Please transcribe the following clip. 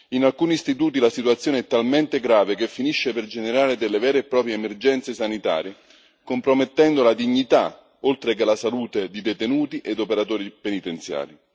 In alcuni istituti la situazione è talmente grave che finisce per generare delle vere e proprie emergenze sanitarie, compromettendo la dignità, oltre che la salute di detenuti ed operatori penitenziari.